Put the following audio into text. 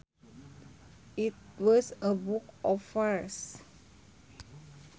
It was a book of verse